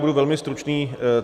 Budu velmi stručný.